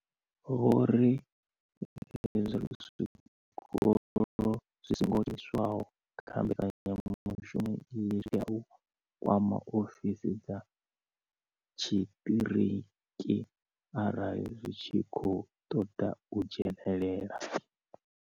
Vho ri zwikolo zwi songo dzheniswaho kha mbekanyamushumo iyi zwi tea u kwama ofisi dza tshiṱiriki arali zwi tshi khou ṱoḓa u dzhenelela.